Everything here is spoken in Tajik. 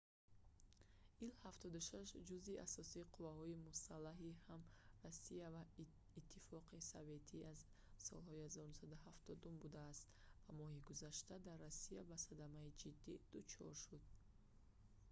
ил-76 ҷузъи асосии қувваҳои мусаллаҳи ҳам россия ва иттифоқи советӣ аз солҳои 1970-ум будааст ва моҳи гузашта дар россия ба садамаи ҷиддӣ дучор шуд